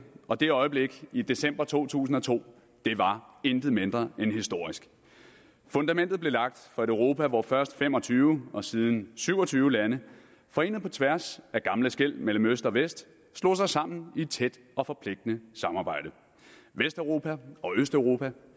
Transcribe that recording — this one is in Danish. og det øjeblik i december to tusind og to var intet mindre end historisk fundamentet blev lagt for et europa hvor først fem og tyve og siden syv og tyve lande forenede på tværs af gamle skel mellem øst og vest slog sig sammen i et tæt og forpligtende samarbejde vesteuropa og østeuropa